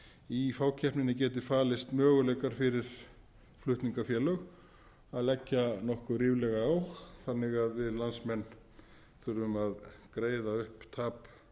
í fákeppninni geti falist möguleikar fyrir flutningafélög að leggja nokkuð ríflega á þannig að við landsmenn þurfum að greiða upp tap